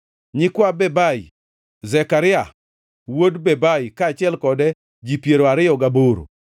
nyikwa Bebai, Zekaria wuod Bebai, kaachiel kode ji piero ariyo gaboro;